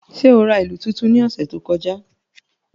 Ṣe o ra ilu tuntun ni ọsẹ to kọja?